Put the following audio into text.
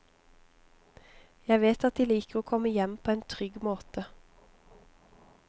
Jeg vet at de liker å komme hjem på en trygg måte.